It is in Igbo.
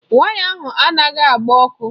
Waya ahụ anaghị agba ọkụ.